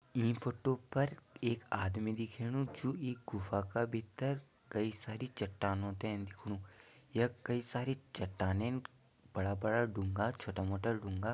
ईं फोटो पर एक आदमी दिखेणु जु इ गुफा का भितर कई सारी चट्टानों ते देखणु यख कई सारी चट्टानीन बड़ा बड़ा डुंगा छोटा मोटा डुंगा।